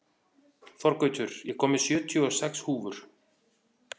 Þorgautur, ég kom með sjötíu og sex húfur!